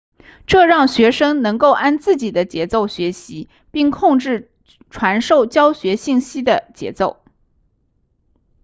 这让学生能够按自己的节奏学习并控制传授教学信息的节奏